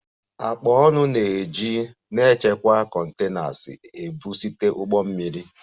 Akpa ọnụ na-eji na-echekwa containers ebu site ụgbọ mmiri